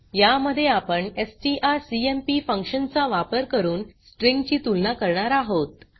या मध्ये आपण एसटीआरसीएमपी फंक्शन चा वापर करून स्ट्रिँग ची तुलना करणार आहोत